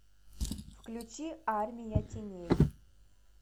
включи армия теней